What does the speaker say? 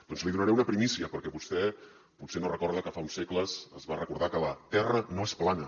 doncs li donaré una primícia perquè vostè potser no recorda que fa uns segles es va recordar que la terra no és plana